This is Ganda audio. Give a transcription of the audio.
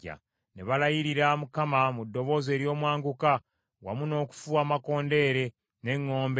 Ne balayirira Mukama mu ddoboozi ery’omwanguka, wamu n’okufuuwa amakondeere n’eŋŋombe.